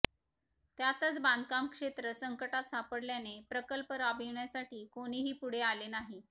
त्यातच बांधकाम क्षेत्र संकटात सापडल्याने प्रकल्प राबविण्यासाठी कोणीही पुढे आले नाही